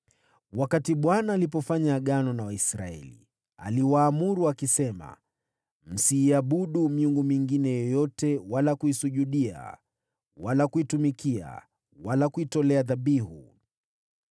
Wakati Bwana alipofanya Agano na Waisraeli, aliwaamuru akisema: “Msiiabudu miungu mingine yoyote wala kuisujudia, wala kuitumikia wala kuitolea dhabihu.